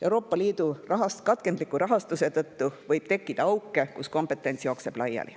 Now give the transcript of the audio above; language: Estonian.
Euroopa Liidu katkendliku rahastuse tõttu võib tekkida auke, kus kompetents jookseb laiali.